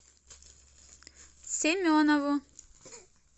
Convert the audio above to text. семенову